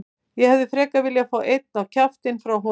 Ég hefði frekar viljað fá einn á kjaftinn frá honum.